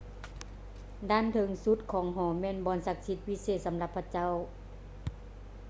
ດ້ານເທິງສຸດຂອງຫໍແມ່ນບ່ອນສັກສິດພິເສດສຳລັບພະເຈົ້າ